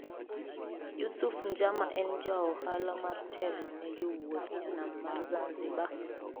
Yusuf Njama en jaohala mar telo ne jowuth e nam ma Zanzibar